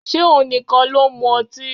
Ṣé òun nìkan ló ń mu ọtí?